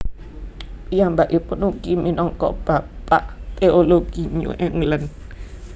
Piyambakipun ugi minangka bapak teologi New England